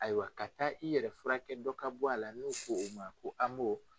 Ayiwa ka taa i yɛrɛ furakɛ dɔ ka bɔ a la n'o ko o ma ko AMO